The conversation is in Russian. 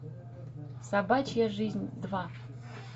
собачья жизнь два